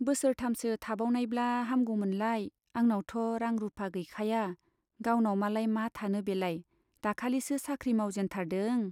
बोसोरथामसो थाबावनायब्ला हामगौमोनलाय, आंनावथ' रां रुपा गैखाया, गावनाव मालाय मा थानो बेलाय दाखालिसो साख्रि मावजेनथारदों !